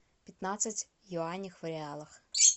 пятнадцать юаней в реалах